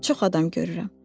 Çox adam görürəm.